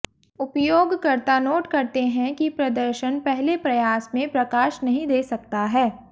उपयोगकर्ता नोट करते हैं कि प्रदर्शन पहले प्रयास में प्रकाश नहीं दे सकता है